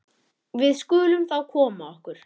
Við skulum þá koma okkur.